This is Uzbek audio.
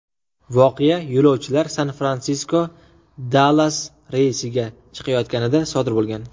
Voqea yo‘lovchilar San-Fransisko–Dallas reysiga chiqayotganida sodir bo‘lgan.